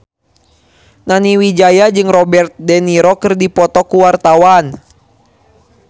Nani Wijaya jeung Robert de Niro keur dipoto ku wartawan